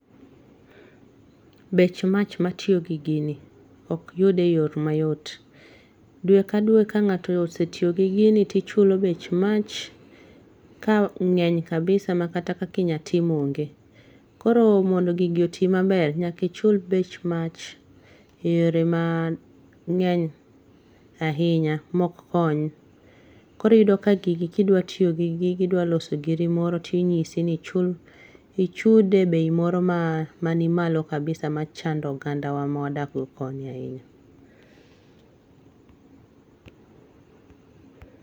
Bech mach matiyo gi gini ok yude e yor mayot, dwe ka dwe ka ng'ato osetiyo gi gini tichulo bech mach ka ng'eny kabisa makata kaki nya tim ong'e ,koro mondo gigi oti maber nyaka ichul bech mach e yore mang'eny ahinya mok kony, koro iyudo ka gigi idwa tiyo gi gigi idwa loso giri moro tinyisi ni chud e bei moromar malo kabisa machando ogandawa mawadak go koni ahinya